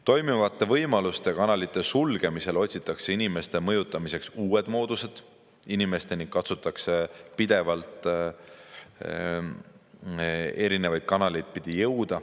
Toimivate võimaluste ja kanalite sulgemisel otsitakse inimeste mõjutamiseks uusi mooduseid, inimesteni katsutakse jõuda pidevalt erinevaid kanaleid pidi.